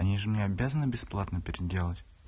они же мне обязаны бесплатно переделать